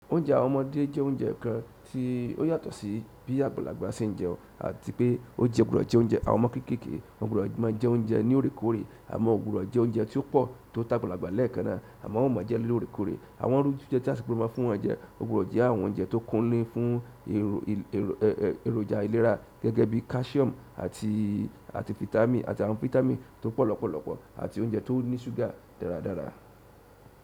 Oúnjẹ àwọn ọmọdé jẹ́ oúnjẹ kan tí ó yàtọ̀ sí bí àgbàlagbà ṣe ń jẹun àti pé ó jẹ́ ọ̀ gbodo jẹ oúnjẹ. Àwọn ọmọ kékèké won gbodo máa jẹ oúnjẹ ní òrékòré àmọ́ won gbodo jẹ oúnjẹ tí ó pọ̀ tó t'agbalagba lẹ́ẹ̀kan náà àmọ́ wọ́n ò maa jẹ lórèkòré. Àwọn iru jijẹ́ ti á si gbodò máa fún wọn jẹ, o gbodo je àwọn oúnjẹ tó kún ni fún ero- e-e- èròjà ìlera gẹ́gẹ́ bí calcium àti àti fitami àti àwọn fitami tó pọ̀ lọ́pọ̀lọ́pọ̀ àti oúnjẹ tó ní ṣúgà dáradára.